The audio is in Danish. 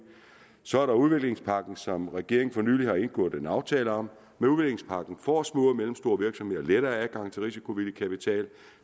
så er der udviklingspakken som regeringen for nylig har indgået en aftale om med udviklingspakken får små og mellemstore virksomheder lettere adgang til risikovillig kapital